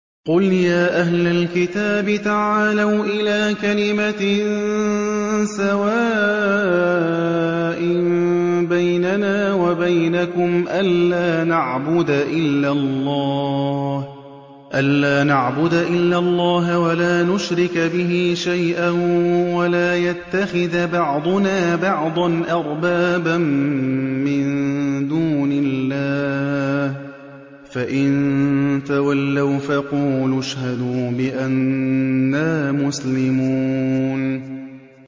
قُلْ يَا أَهْلَ الْكِتَابِ تَعَالَوْا إِلَىٰ كَلِمَةٍ سَوَاءٍ بَيْنَنَا وَبَيْنَكُمْ أَلَّا نَعْبُدَ إِلَّا اللَّهَ وَلَا نُشْرِكَ بِهِ شَيْئًا وَلَا يَتَّخِذَ بَعْضُنَا بَعْضًا أَرْبَابًا مِّن دُونِ اللَّهِ ۚ فَإِن تَوَلَّوْا فَقُولُوا اشْهَدُوا بِأَنَّا مُسْلِمُونَ